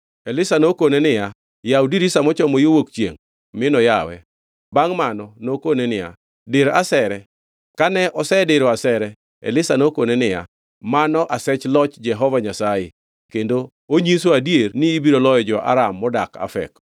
Elisha nokone niya, “Yaw dirisa mochomo yo wuok chiengʼ,” minoyawe. Bangʼ mano nokone niya, “Dir asere.” Kane osediro asere, Elisha nokone niya, “Mano asech loch Jehova Nyasaye kendo onyiso adier ni ibiro loyo jo-Aram modak Afek.”